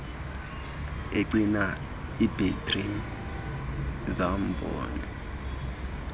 egcina ibhetri zombane